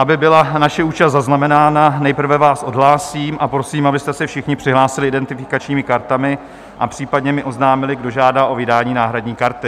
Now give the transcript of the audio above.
Aby byla naše účast zaznamenána, nejprve vás odhlásím a prosím, abyste se všichni přihlásili identifikačními kartami a případně mi oznámili, kdo žádá o vydání náhradní karty.